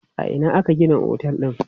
A ina aka gina otel din?